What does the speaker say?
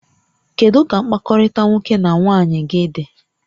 Kedu ka mkpakọrịta nwoke na nwaanyị gị dị?